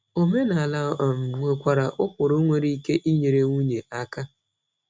Omenala um nwekwara ụkpụrụ nwere ike inyere nwunye aka.